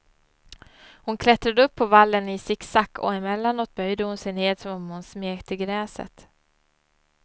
Hon klättrade upp på vallen i sicksack, och emellanåt böjde hon sig ned som om hon smekte gräset.